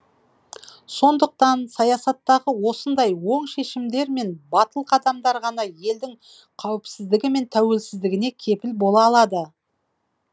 сондықтан саясаттағы осындай оң шешімдер мен батыл қадамдар ғана елдің қауіпсіздігі мен тәуелсіздігіне кепіл бола алды